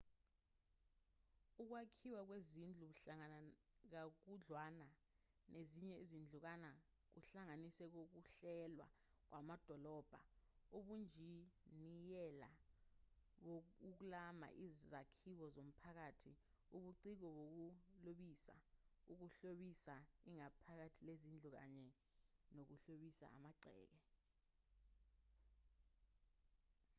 ukwakhiwa kwezindlu buhlangana kakhudlwana nezinye izinkundla kuhlanganise nokuhlelwa kwamadolobha ubunjiniyela bokuklama izakhiwo zomphakathi ubuciko bokuhlobisa ukuhlobisa ingaphakathi lezindlu kanye nokuhlobisa amagceke